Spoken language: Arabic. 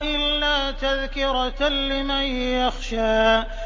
إِلَّا تَذْكِرَةً لِّمَن يَخْشَىٰ